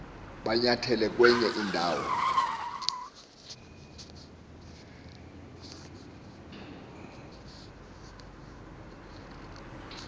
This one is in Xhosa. batyelele kwenye indawo